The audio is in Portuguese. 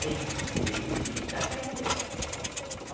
Tem vezes de estar velha.